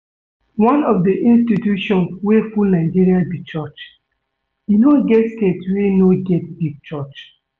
One of the institution wey full Nigeria be church. E no get state wey no get big church